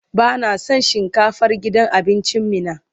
Ba na son shinkafar gidan abincin Meena.